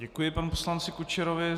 Děkuji panu poslanci Kučerovi.